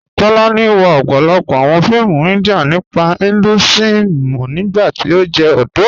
Tólànì wọ̀ ọ̀pọ̀lọ́pọ̀ awọn fíìmù India nípa Hinduism nígbàtí ó jẹ́ ọdọ́.